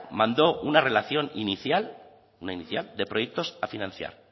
manó una relación inicial una inicial de proyectos a financiar